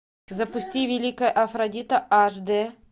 запусти великая афродита аш д